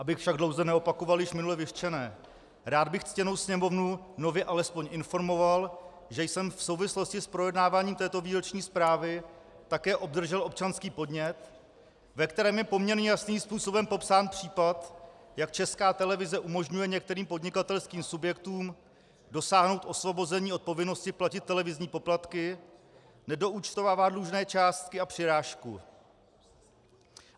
Abych však dlouze neopakoval již minule vyřčené, rád bych ctěnou Sněmovnu nově alespoň informoval, že jsem v souvislosti s projednáváním této výroční zprávy také obdržel občanský podnět, ve kterém je poměrně jasným způsobem popsán případ, jak Česká televize umožňuje některým podnikatelským subjektům dosáhnout osvobození od povinnosti platit televizní poplatky, nedoúčtovává dlužné částky a přirážku.